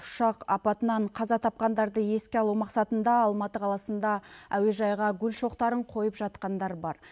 ұшақ апатынан қаза тапқандарды еске алу мақсатында алматы қаласында әуежайға гүл шоқтарын қойып жатқандар бар